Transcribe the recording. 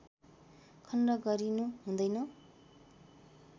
खण्ड गरिनु हुँदैन